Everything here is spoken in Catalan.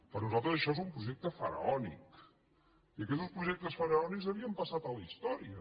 per nosaltres això és un projecte faraònic i aquestos projectes faraònics havien passat a la història